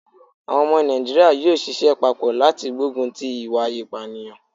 Àwọn omo Nàìjíríà yóò sisẹ́ papọ̀ láti gbógun ti ìwà ìpànìyàn